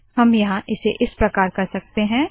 हम यहाँ इसे ऐसे करते है